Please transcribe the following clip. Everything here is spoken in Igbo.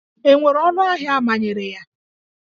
E nwere ọnụ ahịa a manyere ya?